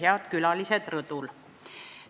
Head külalised rõdul!